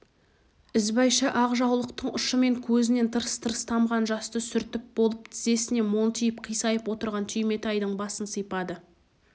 ізбайша ақ жаулықтың ұшымен көзінен тырс-тырс тамған жасты сүртіп болып тізесіне монтиып қисайып отырған түйметайдың басын сипады